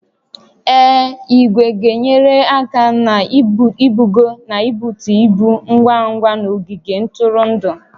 Ee, igwe ga-enyere aka na-ibugo na ibutu ibu ngwa ngwa n'ogige ntụrụndụ